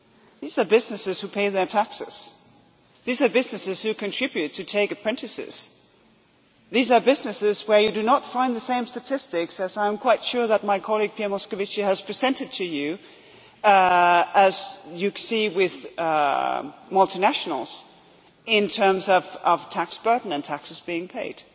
These are businesses who pay their taxes. These are businesses who contribute by taking apprentices. These are businesses where you do not find the same statistics as I am quite sure that my colleague Pierre Moscovici has presented to you as you see with multinationals in terms of tax burden and taxes being paid.